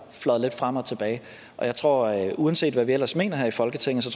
fløjet lidt frem og tilbage og jeg tror at uanset hvad vi ellers mener her i folketinget så